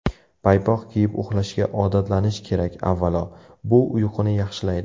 Paypoq kiyib uxlashga odatlanish kerak Avvalo, bu uyquni yaxshilaydi.